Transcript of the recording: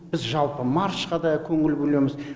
біз жалпы маршқа да көңіл бөлеміз